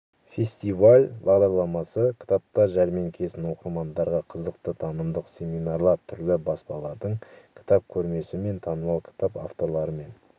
фестиваль бағдарламасы кітаптар жәрмеңкесін оқырмандарға қызықты танымдық семинарлар түрлі баспалардың кітап көрмесі мен танымал кітап авторларымен